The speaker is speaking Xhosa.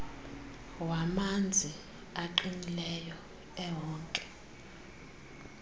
wamanzi aqinileyo ewonke